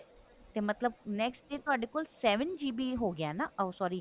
ਮਤਲਬ next day ਤੁਹਾਡੇ ਕੋਲ seven GB ਹੋ ਗਿਆ ਨਾ ਉਹ sorry